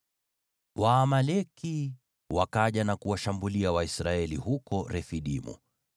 Waamaleki wakaja na kuwashambulia Waisraeli huko Refidimu.